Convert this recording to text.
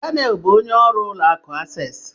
Daniel bụ onye ọrụ ụlọ akụ Asesi